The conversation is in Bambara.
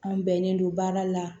An bɛnnen don baara la